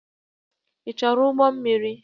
Ị chọrọ ụgbọ mmiri?